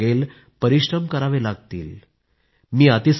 whatever you work towards be dedicated do your best